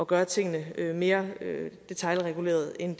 gøre tingene mere detailregulerede end